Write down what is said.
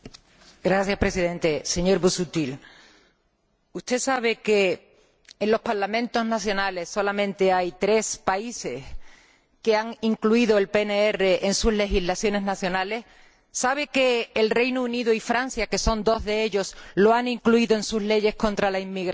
Señor Presidente, señor Busuttil, ¿sabe usted que, de los Parlamentos nacionales, solamente en tres países se ha incluido el PNR en sus legislaciones nacionales? ¿Sabe que el Reino Unido y Francia dos de estos países lo han incluido en sus leyes contra la inmigración?